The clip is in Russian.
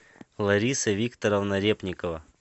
лариса викторовна репникова